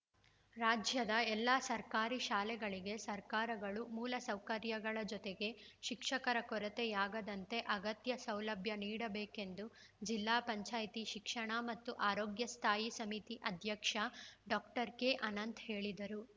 ರಾಜ್ಯದ ಎಲ್ಲಾ ಸರ್ಕಾರಿ ಶಾಲೆಗಳಿಗೆ ಸರ್ಕಾರಗಳು ಮೂಲಸೌಕರ್ಯಗಳ ಜೊತೆಗೆ ಶಿಕ್ಷಕರ ಕೊರತೆಯಾಗದಂತೆ ಅಗತ್ಯ ಸೌಲಭ್ಯ ನೀಡಬೇಕೆಂದು ಜಿಲ್ಲಾ ಪಂಚಾಯತಿ ಶಿಕ್ಷಣ ಮತ್ತು ಆರೋಗ್ಯ ಸ್ಥಾಯಿ ಸಮಿತಿ ಅಧ್ಯಕ್ಷ ಡಾಕ್ಟರ್ ಕೆಅನಂತ್‌ ಹೇಳಿದರು